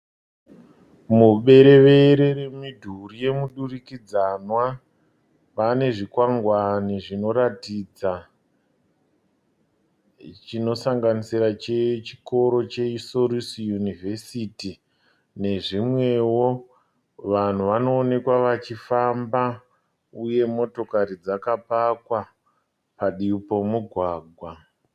Muberevere remidhuri yemudurikidzanwa pane zvikwangwane zvinoratidza, chinosanganisira chechikoro cheSolusi yunivhesiti nezvimwewo. Vanhu vanoonekwa vachifamba, uye motokari dzakapakwa pativi pemugwagwa.